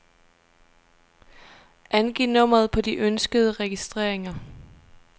Angiv nummeret på de ønskede registreringer.